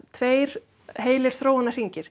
tveir heilir